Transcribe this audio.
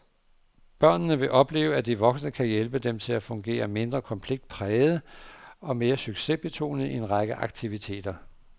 Børnene vil opleve, at de voksne kan hjælpe dem til at fungere mindre konfliktpræget og mere succesbetonet i en række aktiviteter.